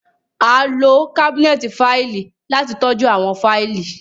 A lo kabinẹti faili lati tọju awọn faili